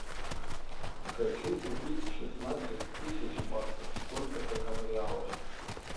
хочу купить шестнадцать тысяч баксов сколько это в реалах